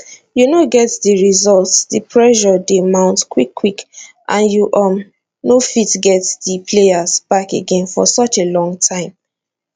you no get di results di pressure dey mount quickquick and you um no fit get [di players] back again for such a long time